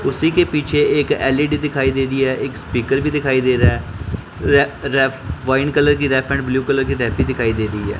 उसी के पीछे एक एल_इ_डी दिखाई दे रही है एक स्पीकर भी दिखाई दे रहा है र रेफ वाइन कलर की ब्लू कलर की दिखाई दे रही है।